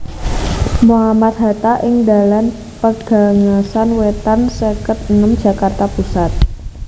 Mohammad Hatta ing Dalan Pegangsaan Wétan seket enem Jakarta Pusat